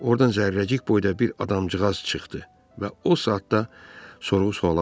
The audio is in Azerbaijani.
Ordan Zərrəcik boyda bir adamcığaz çıxdı və o saat da sorğu-suala başladı.